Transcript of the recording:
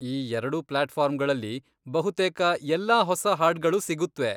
ಈ ಎರ್ಡೂ ಪ್ಲ್ಯಾಟ್ಫಾರ್ಮ್ಗಳಲ್ಲಿ ಬಹುತೇಕ ಎಲ್ಲಾ ಹೊಸ ಹಾಡ್ಗಳೂ ಸಿಗುತ್ವೆ.